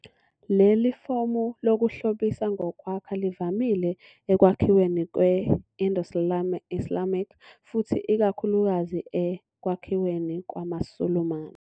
Leli fomu lokuhlobisa ngokwakha livamile ekwakhiweni kwe- Indo-Islamic futhi ikakhulukazi ekwakhiweni kwamaSulumane.